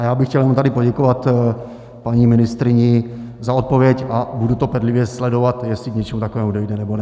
A já bych chtěl jenom tady poděkovat paní ministryni za odpověď a budu to bedlivě sledovat, jestli k něčemu takovému dojde, nebo ne.